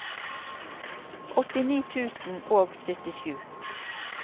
åttini tusen og syttisju